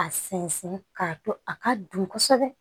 A sɛnsɛn k'a to a ka dun kosɛbɛ